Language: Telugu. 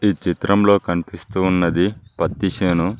ఈ చిత్రంలో కనిపిస్తూ ఉన్నది పత్తి సెను.